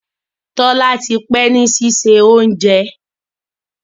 Tola tí pé ní sisé oúnjẹ.